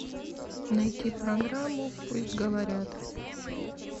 найти программу пусть говорят